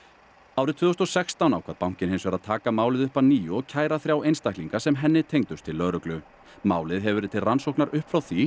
árið tvö þúsund og sextán ákvað bankinn hins vegar að taka málið upp að nýju og kæra þrjá einstaklinga sem henni tengdust til lögreglu málið hefur verið til rannsóknar upp frá því